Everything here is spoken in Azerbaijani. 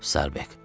Starbek!